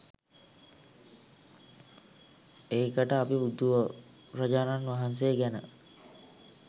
ඒකට අපි බුදුරජාණන් වහන්සේ ගැන .